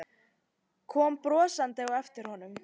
Kom brosandi á eftir honum.